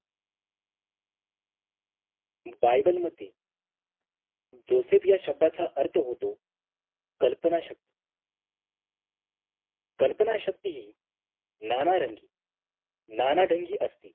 Bible मध्ये Joseph या शब्दाचा अर्थ होतो कल्पना शक्ती कल्पना शक्ती नानारंग नानाढांगी असते